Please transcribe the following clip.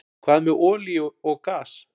Hvað með olíu og gas?